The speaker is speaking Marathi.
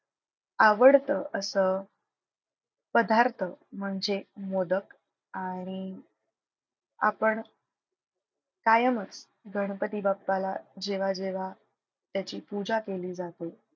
आवडतं असं पदार्थ म्हणजे मोदक आणि आपण कायमच गणपती बाप्पाला जेव्हा जेव्हा त्याची पूजा केली जाते,